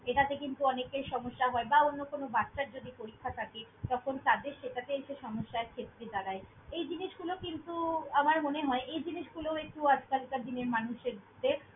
এটাতে কিন্তু অনেকের সমস্যা হয় বা অন্য কোনো বাচ্ছার যদি পরীক্ষা থাকে, তখন তাদের সেটাতে এসে সমস্যার ক্ষেত্রে দাড়ায়। এই জিনিসগুলো কিন্তু আমার মনে হয়, এই জিনিসগুলো একটু আজকালকার দিনের মানুষ এ দের।